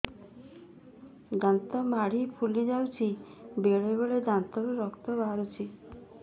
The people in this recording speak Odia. ଦାନ୍ତ ମାଢ଼ି ଫୁଲି ଯାଉଛି ବେଳେବେଳେ ଦାନ୍ତରୁ ରକ୍ତ ବାହାରୁଛି